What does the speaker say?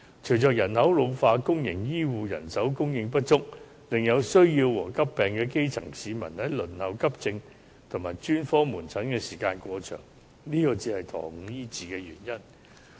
隨着人口老化，公營醫護人手供應不足，以致有需要和患急病的基層市民輪候急症及專科門診的時間過長，這才是延誤醫治的原因。